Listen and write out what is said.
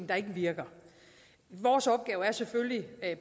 der ikke virker vores opgave er selvfølgelig